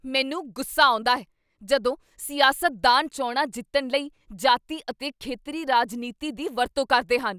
ਮੈਨੂੰ ਗੁੱਸਾ ਆਉਂਦਾ ਹੈ ਜਦੋਂ ਸਿਆਸਤਦਾਨ ਚੋਣਾਂ ਜਿੱਤਣ ਲਈ ਜਾਤੀ ਅਤੇ ਖੇਤਰੀ ਰਾਜਨੀਤੀ ਦੀ ਵਰਤੋਂ ਕਰਦੇ ਹਨ।